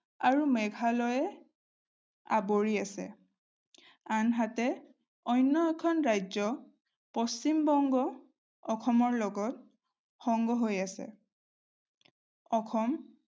আৰু মেঘালয়ে আৱৰি আছে। আনহাতে অন্য এখন ৰাজ্য পশ্চিমবংগ অসমৰ লগত সংগ হৈ আছে। অসম